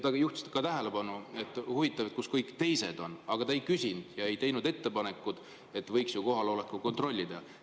Ta juhtis ka tähelepanu, et huvitav, kus kõik teised on, aga ta ei teinud ettepanekut, et võiks kohalolekut kontrollida.